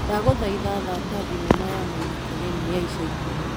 Ndagũthaitha thaka thinema ya Maĩna Kagenĩ ya ica ikuhĩ.